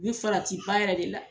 U bɛ farati ba yɛrɛ de la.